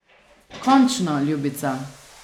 Končno, ljubica.